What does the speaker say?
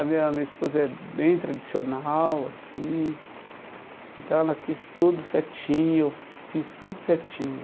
A minha minha esposa é bem tradicional, assim, então ela quis tudo certinho, eu fiz tudo certinho.